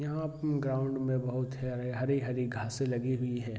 यहाँ ग्राउंड में बहुत सारे हरी-हरी घासे लगी हुई है ।